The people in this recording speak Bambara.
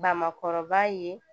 Bamakɔrɔba ye